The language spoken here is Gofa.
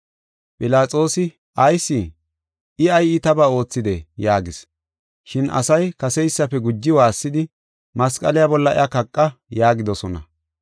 Philaxoosi, “Ayis? I ay iitaba oothidee?” yaagis. Shin asay kaseysafe guji waassidi, “Masqale bolla iya kaqa” yaagidosona.